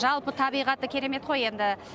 жалпы табиғаты керемет қой енді